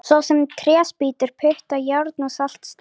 Svo sem tréspýtur, putta, járn og saltsteina!